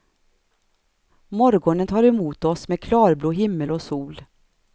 Morgonen tar emot oss med klarblå himmel och sol.